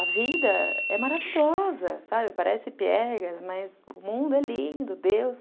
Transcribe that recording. A vida é maravilhosa, parece piegas, mas o mundo é lindo. Deus,